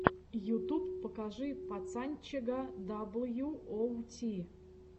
ютуб покажи пацанчега дабл ю оу ти